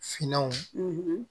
Finanw